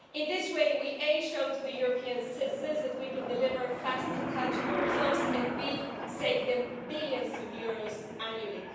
In this way, we show to the European citizens that we can deliver fast and tangible results and save them billions of euros annually.